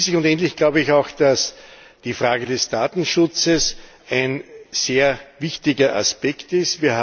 Und schließlich und endlich glaube ich auch, dass die Frage des Datenschutzes ein sehr wichtiger Aspekt ist.